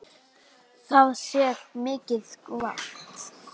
Það sé mikið vald.